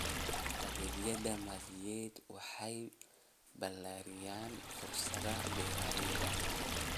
Adeegyada maaliyadeed waxay ballaariyaan fursadaha beeralayda.